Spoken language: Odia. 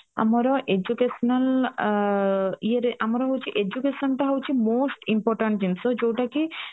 ଆମର educational ଆଂ ଆଁ ଇଏରେ ଆମର ହଉଚି education ତ ହଉଚି most important ଜିନିଷ ଯୋଉ ଟା କି